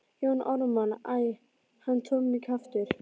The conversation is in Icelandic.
Jón Ármann: Æ, hann Tommi kjaftur.